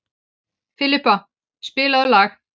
Filippa, spilaðu lag.